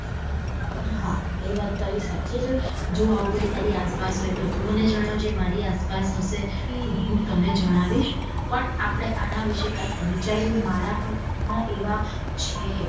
હા એ વાત તારી સાચી છે જો આવું કઈ તારી અસ્સ પાસ હોય તો તું મને જણાવજે મારી આસપાસ હશે તો હું તને જણાવીશ પણ આપડે આના વિષયે કાયક વિચારીયે મારા પણ ગાન એવા છે.